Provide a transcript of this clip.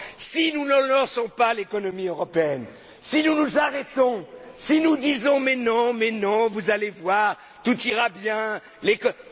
Si nous ne relançons pas l'économie européenne, si nous nous arrêtons, si nous disons Mais non, mais non, vous allez voir, tout ira bien, nous allons dans le mur.